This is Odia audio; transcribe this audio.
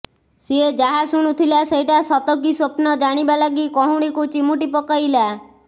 ସିଏ ଯାହା ଶୁଣୁଥିଲା ସେଇଟା ସତ କି ସ୍ୱପ୍ନ ଜାଣିବା ଲାଗି କହୁଣିକୁ ଚିମୁଟି ପକେଇଲା